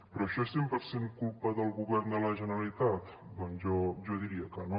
però això és cent per cent culpa del govern de la generalitat doncs jo diria que no